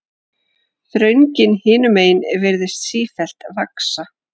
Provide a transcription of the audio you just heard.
Þröngin hinumegin virðist sífellt vaxa.